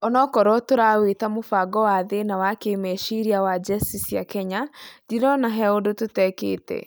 Onokorwo tũrawĩta mũbango wa thĩna wa kĩmeciria wa jeci cia Kenya, ndĩrona he ũndũ tũtekĩte."